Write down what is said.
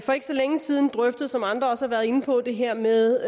for ikke så længe siden drøftet som andre også har været inde på det her med